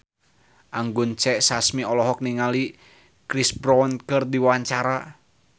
Anggun C. Sasmi olohok ningali Chris Brown keur diwawancara